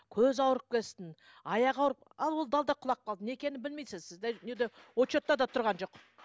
көз ауырып келсін аяғы ауырып ал ол да алды да құлап қалды не екен білмейсіз сізде не де учетта да тұрған жоқ